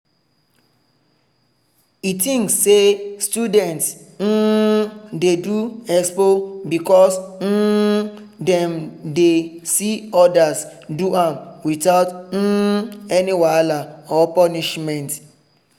e think say students um dey do expo because um dem dey see others do am without um any wahala or punishment.